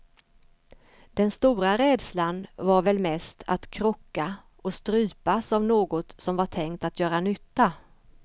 Den stora rädslan var väl mest att krocka och strypas av något som var tänkt att göra nytta.